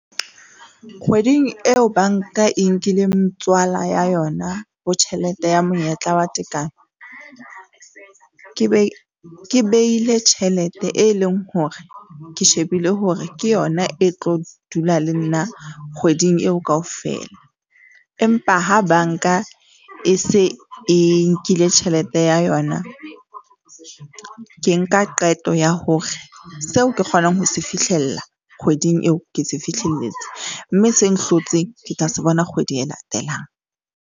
Kgweding eo bank-a e nkileng tswala ya yona, ho tjhelete ya monyetla wa tekano. Ke ke beile tjhelete, e leng hore ke shebile hore ke yona e tlo dula le nna kgweding eo kaofela, empa ha bank-a e se e nkile tjhelete ya yona, ke nka qeto ya hore seo ke kgonang ho se fihlella kgweding eo, ke se fihlelletse mme se nhlotseng, ke tla se bona kgwedi e latelang.